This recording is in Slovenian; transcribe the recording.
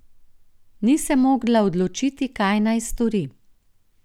Ni se mogla odločiti, kaj naj stori.